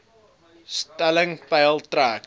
stelling peil trek